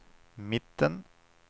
mitten